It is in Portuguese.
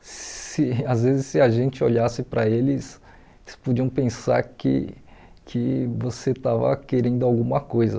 Se às vezes, se a gente olhasse para eles, eles podiam pensar que que você estava querendo alguma coisa.